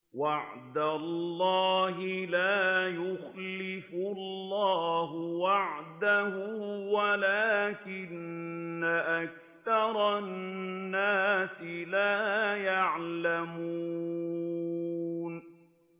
وَعْدَ اللَّهِ ۖ لَا يُخْلِفُ اللَّهُ وَعْدَهُ وَلَٰكِنَّ أَكْثَرَ النَّاسِ لَا يَعْلَمُونَ